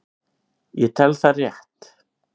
Ég tel það rétt.